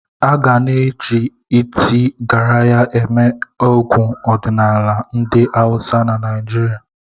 Aga na eji iti Garaya eme egwu ọdịnala ndị awusa na Naịjirịa.